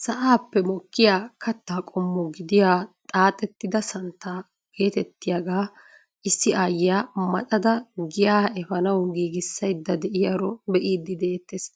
Sa'aappe mokkiyaa kaattaa qommo gidiyaa xaaxettida santtaa getettiyaagaa issi ayiyaa maaxada giyaa eefanawu giigisayda de'iyaaro bee'idi de'ettees.